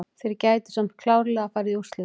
Þeir gætu samt klárlega farið í úrslit.